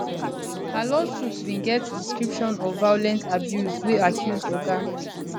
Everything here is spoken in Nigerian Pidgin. her lawsuit bin get description of violent abuse wey accuse oga